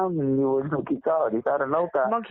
स्त्रियांना निवडणुकीचा अधिकार नव्हता